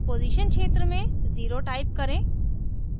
position क्षेत्र में 0 type करें